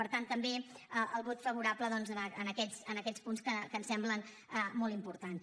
per tant també el vot favorable a aquests punts que ens semblen molt importants